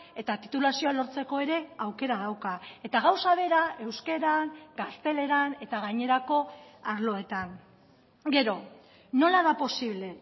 eta titulazioa lortzeko ere aukera dauka eta gauza bera euskaran gazteleran eta gainerako arloetan gero nola da posible